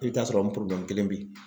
I bɛ t'a sɔrɔ nin kelen bɛ ye.